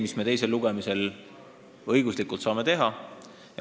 Midagi muud me teisel lugemisel õiguslikult teha ei saa.